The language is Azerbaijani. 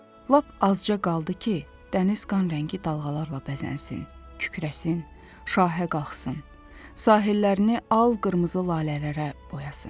Lap azca qaldı ki, dəniz qan rəngi dalğalarla bəzənsin, kükrəsin, şahə qalxsın, sahillərini al qırmızı lalələrə boyasın.